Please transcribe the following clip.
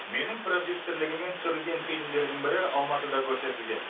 менің продюсерлігіммен түсірілген фильмдердің бірі алматыда көрсетілген